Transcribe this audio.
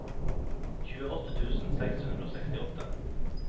tjueåtte tusen seks hundre og sekstiåtte